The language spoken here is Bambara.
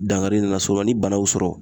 Dankari nin nasuku la, ni bana y'u sɔrɔ